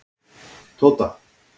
Tóta